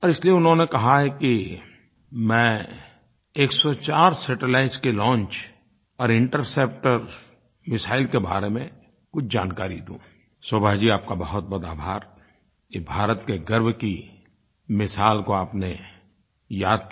और इसलिये उन्होंने कहा है कि मैं 104 सैटेलाइट्स के लॉन्च और इंटरसेप्टर मिसाइल के बारे में कुछ जानकारी दूँ शोभा जी आपका बहुतबहुत आभार कि भारत के गर्व की मिसाल को आपने याद किया